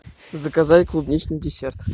заказать клубничный десерт